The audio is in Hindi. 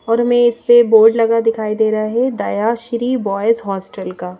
और हमें इस पे बोर्ड लगा दिखाई दे रहा है दया श्री बॉयज हॉस्टल का।